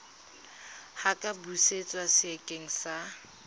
a ka busetswa sekeng sa